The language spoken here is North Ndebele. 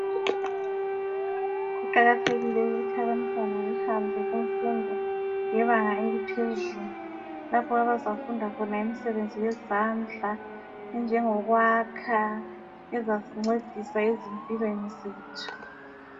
Kuqakathekile ukuthi abantwana behambe kumfundo yebanga eliphezulu lapho abazafunda khona imisebenzi yezandla enjengokwakha ezasincedisa ezimpilweni zethu.